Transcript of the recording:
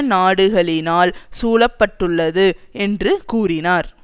நாடுகளினால் சூழ பட்டுள்ளது என்று கூறினார்